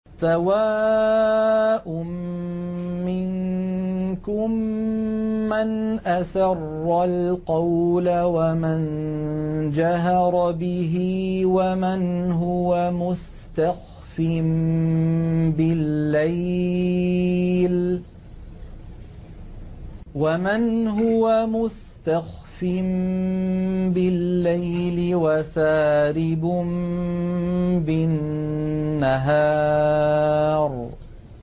سَوَاءٌ مِّنكُم مَّنْ أَسَرَّ الْقَوْلَ وَمَن جَهَرَ بِهِ وَمَنْ هُوَ مُسْتَخْفٍ بِاللَّيْلِ وَسَارِبٌ بِالنَّهَارِ